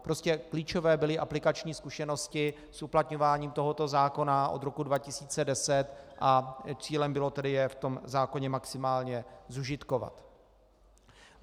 Prostě klíčové byly aplikační zkušenosti s uplatňováním tohoto zákona od roku 2010 a cílem bylo tedy je v tom zákoně maximálně zužitkovat.